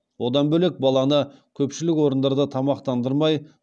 одан бөлек баланы көпшілік орындарда тамақтандырмай